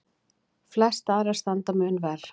Flestar aðrar standa mun verr.